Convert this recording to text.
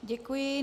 Děkuji.